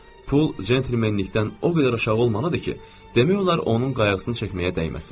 Pul centlmenlikdən o qədər aşağı olmalıdır ki, demək olar, onun qayğısını çəkməyə dəyməsin.